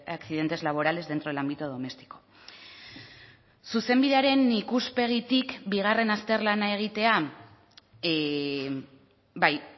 accidentes laborales dentro del ámbito doméstico zuzenbidearen ikuspegitik bigarren azterlana egitea bai